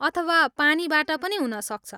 अथवा पानीबाट पनि हुनसक्छ?